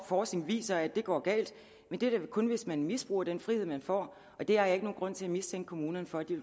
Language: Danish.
forskning viser at det går galt men det er da kun hvis man misbruger den frihed man får og det har jeg ikke nogen grund til at mistænke kommunerne for